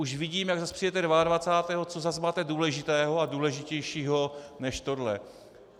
Už vidím, jak zas přijdete 22., co zas máte důležitého a důležitějšího než tohle.